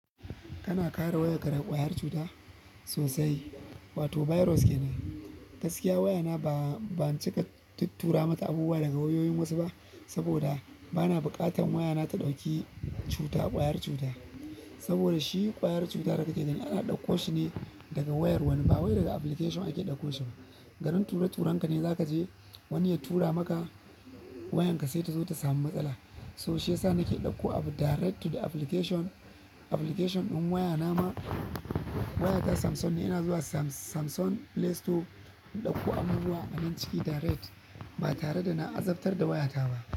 Kana kare wayarka daga ƙwayar cuta sosai, wato virus ke nan. Gaskiya wayana ba, ban cika tuturawa mata abubuwa daga wayoyin wasu ba saboda bana buƙatan wayana ta ɗauki cuta, ƙwayar cuta, saboda shi ƙwayar cuta da kake gani ana ɗauko shi ne daga wayar wani ba wai daga application ake ɗauko shi ba, garin tura turanka ne za ka je wani ya tura maka wayanka sai ta zo ta samu matsala, to shi ya sa nake ɗauko direct to the application, application ɗin wayana ma waya ta Samsung ne, ina zuwa Sam-Samsung Play Store in ɗauko abubuwa a nan ciki direct ba tare da na azabtar da wayata ba,